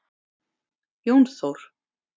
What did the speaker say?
Jón Þór.